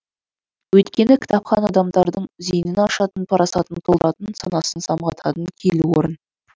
өйткені кітапхана адамдардың зейінін ашатын парасатын толтыратын санасын самғататын киелі орын